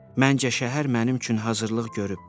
Məncə şəhər mənim üçün hazırlıq görüb.